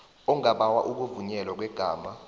ongabawa ukuvunyelwa kwegama